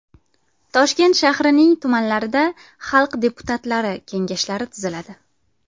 Toshkent shahrining tumanlarida xalq deputatlari Kengashlari tuziladi.